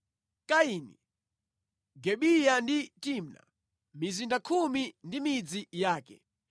Kaini, Gibeya ndi Timna, mizinda khumi ndi midzi yake.